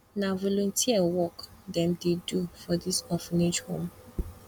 na volunteer work dem dey do for dis orphanage home